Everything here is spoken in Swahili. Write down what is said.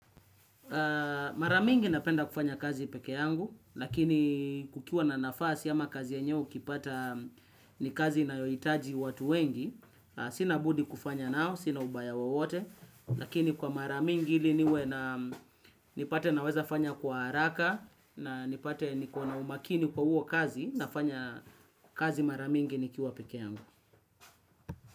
Maramingi napenda kufanya kazi peke yangu, lakini kukiwa na nafasi ama kazi yenyewe ukipata ni kazi inayohitaji watu wengi. Sina budi kufanya nao, sina ubaya wowote, lakini kwa maramingi ili niwe na nipate naweza fanya kwa haraka na nipate nikona umakini kwa huo kazi, nafanya kazi maramingi nikiwa peke yangu.